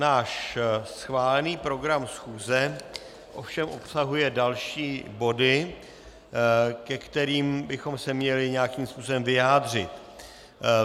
Náš schválený program schůze ovšem obsahuje další body, ke kterým bychom se měli nějakým způsobem vyjádřit.